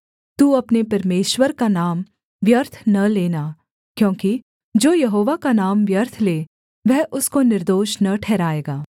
तू अपने परमेश्वर का नाम व्यर्थ न लेना क्योंकि जो यहोवा का नाम व्यर्थ ले वह उसको निर्दोष न ठहराएगा